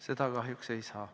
Seda kahjuks ei saa.